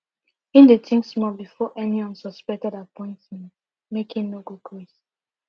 him dey think small before any unsuspected make him no go